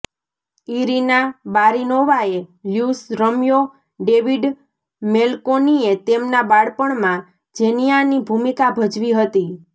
Irina બારીનોવાએ લ્યૂસ રમ્યો ડેવિડ મેલકોનીએ તેમના બાળપણમાં ઝેનયાની ભૂમિકા ભજવી હતી